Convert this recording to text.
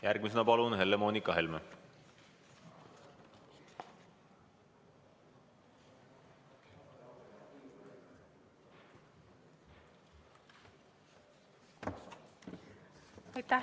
Järgmisena Helle-Moonika Helme, palun!